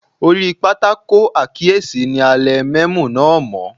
Orí pátákó àkíyèsí ni a lẹ mẹ́mò náà mọ́.